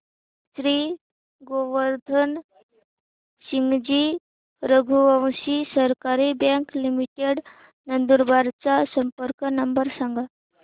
श्री गोवर्धन सिंगजी रघुवंशी सहकारी bank limited Nandurbar चा संपर्क नंबर सांगा